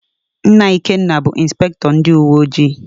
Nna Ikenna bụ Ịnspektọ ndịuweojii.